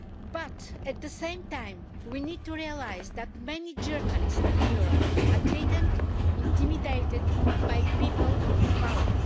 But, at the same time, we need to realise that many journalists in Europe are threatened and intimidated by people in power.